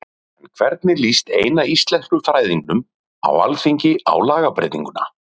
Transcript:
En hvernig líst eina íslenskufræðingnum á Alþingi á lagabreytinguna?